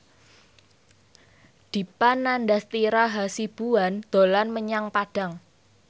Dipa Nandastyra Hasibuan dolan menyang Padang